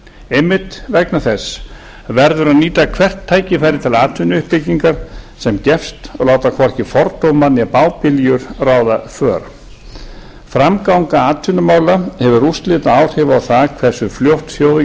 einmitt vegna þess verður að nýta hvert tækifæri til atvinnuuppbyggingar sem gefst og láta hvorki fordóma né bábiljur ráða för framganga atvinnumála hefur úrslitaáhrif á það hversu fljótt þjóðin